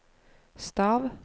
stav